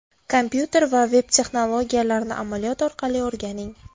Kompyuter va veb-texnologiyalarini amaliyot orqali o‘rganing!